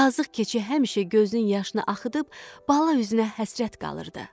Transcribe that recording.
Yazıq keçi həmişə gözünün yaşını axıdıb bala üzünə həsrət qalırdı.